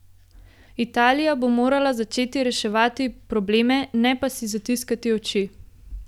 Italija bo morala začeti reševati probleme, ne pa si zatiskati oči.